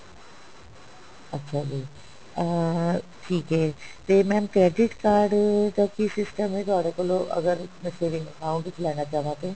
ਅੱਛਾ ਜੀ ਅਹ ਠੀਕ ਹੈ ਤੇ mam credit card ਦਾ ਕੀ system ਹੈਗਾ ਤੁਹਾਡੇ ਕੋਲੋਂ ਅਗਰ ਮੈਂ saving account ਵਿੱਚ ਲੈਣਾ ਚਾਹਵਾਂ ਤੇ